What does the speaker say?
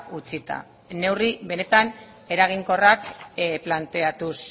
utzita neurri benetan eraginkorrak planteatuz